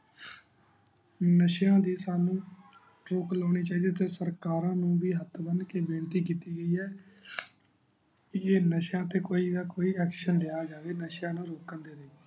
ਨਾਸ਼ੇਯਾਂ ਦੇ ਸਾਨੂ ਰੋਕ ਲਾਉਣੀ ਚਾਹੀਦੀ ਹੈ ਤੇ ਸਰਕਾਰਾਂ ਨੂੰ ਵੀ ਹੇਠ ਬਣ ਕੇ ਬੇਨਤੀ ਕੀਤੀ ਗਯੀ ਹੈ ਕੀ ਨਾਸ਼ੇਯਾਂ ਤੇ ਕੋਈ ਨਾ ਕੋਈ action ਲਿਆ ਜਾਵੇ ਨਾਸ਼ਯਾ ਨੂ ਰੁਕਣ ਦੇ ਲਈ